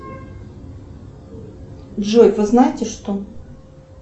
джой вы знаете что